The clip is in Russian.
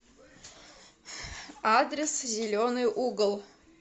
адрес зеленый угол